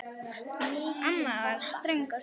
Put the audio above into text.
Amma var ströng á svip.